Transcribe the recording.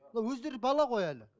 мынау өздері бар ғой әлі